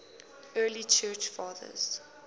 early church fathers